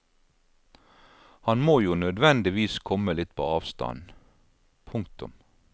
Han må jo nødvendigvis komme litt på avstand. punktum